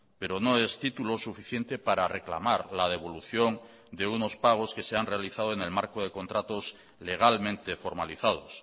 pero no es título suficiente para reclamar la devolución de unos pagos que se han realizado en el marco de contratos legalmente formalizados